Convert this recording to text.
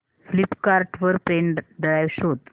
Flipkart वर pen drive शोधा